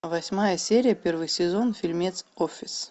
восьмая серия первый сезон фильмец офис